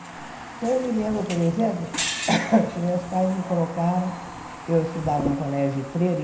Então, eu me lembro, por exemplo, que meus pais me colocaram... Eu estudava num colégio de freira.